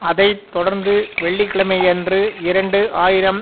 அதை தொடர்ந்து வெள்ளி கிழமையன்று இரண்டு ஆயிரம்